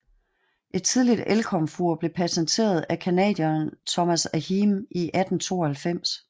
Et tidligt elkomfur blev patenteret af canadieren Thomas Ahearn i 1892